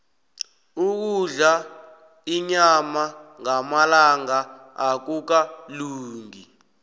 ukudla inyama ngamalanga akukalungi